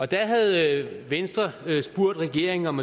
der havde venstre spurgt regeringen om